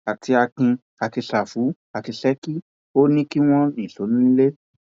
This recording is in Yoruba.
àti akin àti sáfù àti ṣèkì ò ní kí wọn nìṣó nílẹ